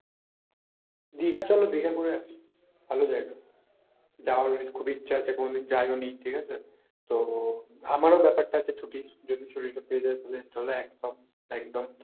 দীঘা চলো দীঘা ঘুরে আসি, ভালো জায়গা । যাওয়ার খুব ইচ্ছা আছে কোনদিন যাইও নি ঠিক আছে, তো আমারও ব্যাপারটা আছে ছুটির, যদি ছুটিটা পেয়ে যাই তাহলে চলো এক স~ একদম।